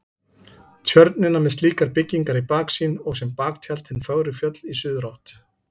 Tjörnina með slíkar byggingar í baksýn og sem baktjald hin fögru fjöll í suðurátt.